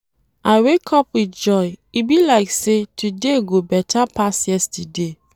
I wake up with joy, e be like sey today go beta pass yesterday.